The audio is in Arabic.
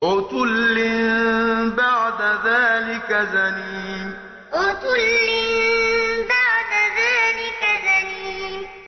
عُتُلٍّ بَعْدَ ذَٰلِكَ زَنِيمٍ عُتُلٍّ بَعْدَ ذَٰلِكَ زَنِيمٍ